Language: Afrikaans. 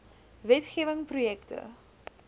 wet gewing projekte